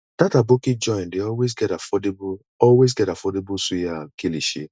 dat aboki joint dey always get affordable always get affordable suya and kilishi